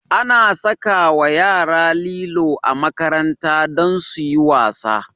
Ana sakawa yara lilo a makaranta don suyi wasa